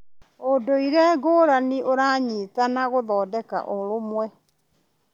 Ũndũire ngũrani ũranyitana gũthondeka ũrũmwe.